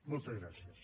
moltes gràcies